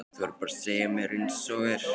Þú verður bara að segja mér einsog er.